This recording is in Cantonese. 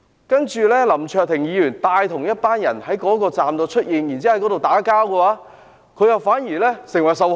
然而，林卓廷議員帶同一群人在元朗站內出現，並且在那裏與人打鬥，反而成為受害人。